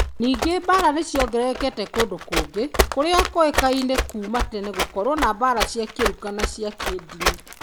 Ningĩ mbaara nĩ ciongererekete kũndũ kũngĩ , kũrĩa kũĩkaine kuuma tene gũkorũo na mbaara cia rũruka na cia kĩĩndini.